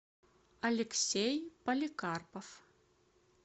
алексей поликарпов